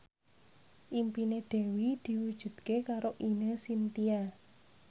impine Dewi diwujudke karo Ine Shintya